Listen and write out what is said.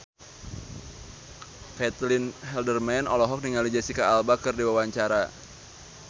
Caitlin Halderman olohok ningali Jesicca Alba keur diwawancara